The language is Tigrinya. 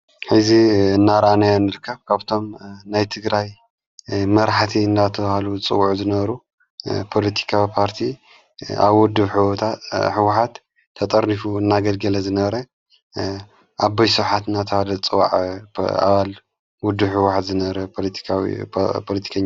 ሀዚ እናራእናዮ ንርካብ ካብቶም ናይ ትግራይ መራኃቲ እናተውሃሉ ጽዉዑ ዘነሩ ፖልቲካዊ ፖርቲ ኣብ ውድብ ሕዋኃት ተጠሪፉ እናገድገለ ዘነረ ኣበይ ስብሓት እናትብሃለ ዝጸዋዕ ኣባል ዉዱ ሕዋኃት ዘነበረ ፖለቲከኛ እዩ።